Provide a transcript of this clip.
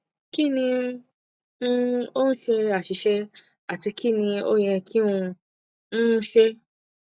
kini um o ṣe aṣiṣe ati kini o yẹ ki n um ṣe